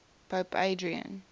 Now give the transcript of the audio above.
pope adrian